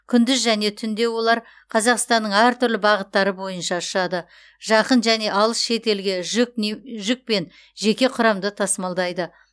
күндіз және түнде олар қазақстанның әр түрлі бағыттары бойынша ұшады жақын және алыс шетелге жүк пен жеке құрамды тасымалдайды